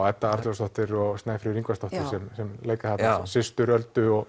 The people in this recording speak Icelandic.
Edda Alfreðsdóttir og Snæfríður Ingvarsdóttir sem leika systur Öldu og